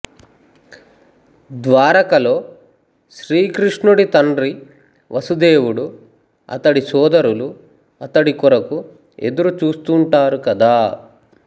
ద్వారకలో శ్రీకృష్ణుడి తండ్రి వసుదేవుడు అతడి సోదరులు అతడి కొరకు ఎదురు చూస్తుంటారు కదా